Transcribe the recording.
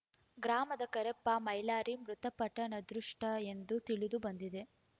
ಗ್ರಾಮದ ಕರೆಪ್ಪ ಮೈಲಾರಿ ಮೃತಪಟ್ಟ ನತದೃಷ್ಟ ಎಂದು ತಿಳಿದು ಬಂದಿದೆ